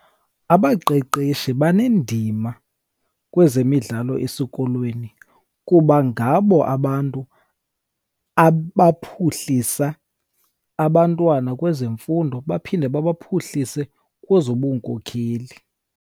Abaqeqeshi banendima kwezemidlalo esikolweni kuba ngabo abantu abaphuhlisa abantwana kwezemfundo, baphinde babaphuhlise kwezobunkokheli.